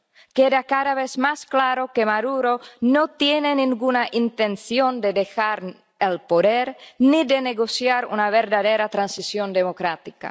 Queda cada vez más claro que Maduro no tiene ninguna intención de dejar el poder ni de negociar una verdadera transición democrática.